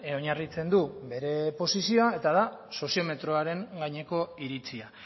oinarritzen du bere posizioa eta da soziometroaren gaineko iritzia